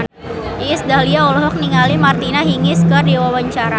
Iis Dahlia olohok ningali Martina Hingis keur diwawancara